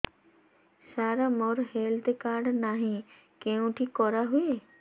ସାର ମୋର health card ନାହିଁ କେଉଁଠି କରା ହୁଏ